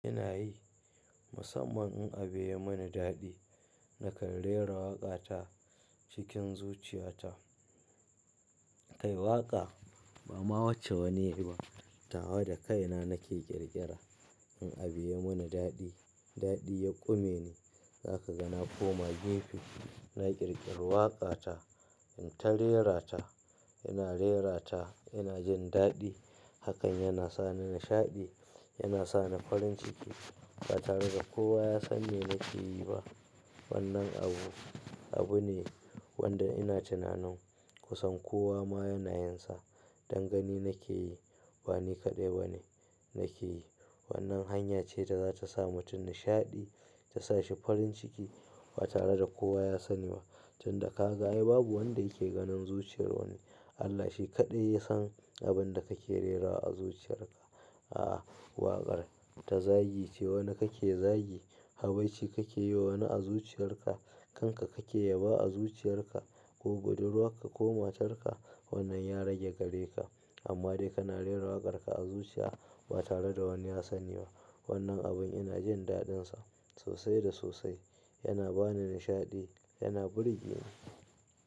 Ina yi, musamman in a biya mani daɗi. Nakan rera waƙa ta cikin zuciya ta. Kai waƙa ba ma wace wani ya yi ba. Tawa da kaina nake ƙirƙira in a biya mani daɗi. Daɗi ya ƙume ni, za ka ga na koma gimfe, na ƙirƙiri waƙa ta. In ta rerata, ina rerata, ina jin daɗi. Hakan yana sa ni nishaɗi, yana sa ni farin ciki ba tare da kowa ya san me nake yi ba. Wannan abu, abu ne wanda ina tunanin kusan kowa ma yana yinsa. Dangani nake yi, ba ni kaɗai bane nake yi. Wannan hanya ce da za ta sa mutum nishaɗi, ta sa shi farin ciki ba tare da kowa ya sani ba. Tun da ka ga ai babu wanda yake ganin zuciyar wani. Allah shi kaɗai ya san abin da kake rera a zuciyar ka. Aa, waƙar ta zagi ce wani kake zagi, habaici kake yi wa wani a zuciyar ka, kanka kake yaba a zuciyar ka, ko godarwa ka ko matarka wannan ya rage gare ka. Amma dai kana rerawa waƙar ka a zuciya ba tare da wani ya sani ba. Wannan abun ina jin daɗinsa sosai da sosai. Yana ba ni nishaɗi, yana burge ni.